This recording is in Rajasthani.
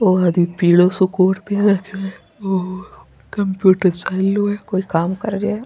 वो अभी पीलो सा कोट पहन रखो है कम्प्यूटर चाल रो है कोई काम कर रेहो है।